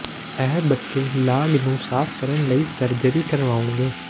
ਇਹ ਬੱਚੇ ਲਾਗ ਨੂੰ ਸਾਫ਼ ਕਰਨ ਲਈ ਸਰਜਰੀ ਕਰਵਾਉਣਗੇ